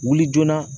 Wuli joona